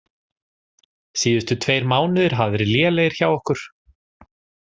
Síðustu tveir mánuðir hafa verið lélegir hjá okkur.